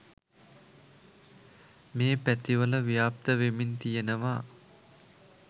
මේ පැතිවල ව්‍යාප්ත වෙමින් තියනවා.